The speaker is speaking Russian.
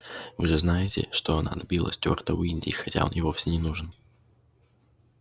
вы же знаете что она отбила стюарта у индии хотя он ей вовсе не нужен